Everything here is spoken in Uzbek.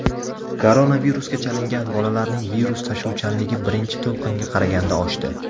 Koronavirusga chalingan bolalarning virus tashuvchanligi birinchi to‘lqinga qaraganda oshdi.